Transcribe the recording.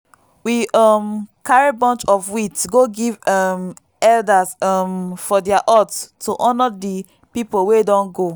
we um carry bunch of wheat go give um elders um for their hut to honour the people wey don go.